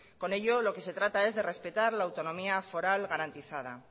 con ello lo que se trata es de respetar la autonomía foral garantizada